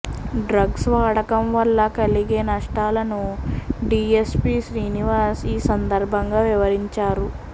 drugs వాడకం వల్ల కలిగే నష్టాలను డిఎస్పి శ్రీనివాస్ ఈ సందర్భంగా వివరించారు